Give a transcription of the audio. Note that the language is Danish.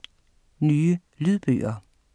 Nye lydbøger